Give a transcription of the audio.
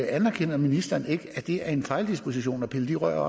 anerkender ministeren ikke at det var en fejldisposition at pille de rør